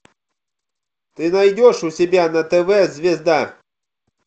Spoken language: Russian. ты найдешь у себя на тв звезда